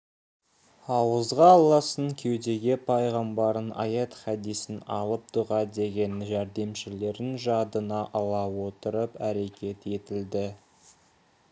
ауызға алласын кеудеге пайғамбарын аят хадисін алып дұға деген жәрдемшілерін жадына ала отырып әрекет етілді